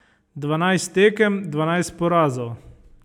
Dvanajst tekem, dvanajst porazov.